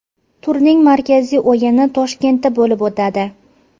Turning markaziy o‘yini Toshkentda bo‘lib o‘tadi.